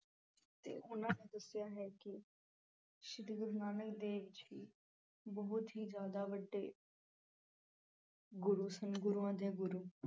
ਤੇ ਉਨ੍ਹਾਂ ਦੱਸਿਆ ਹੈ ਕਿ ਸ਼੍ਰੀ ਗੁਰੂ ਨਾਨਕ ਦੇਵ ਜੀ ਬਹੁਤ ਹੀ ਜਿਆਦਾ ਵੱਡੇ ਗੁਰੂ ਸਨ। ਗੁਰੂਆਂ ਦੇ ਗੁਰੂ